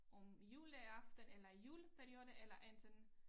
Om juleaften eller juleperioden eller enten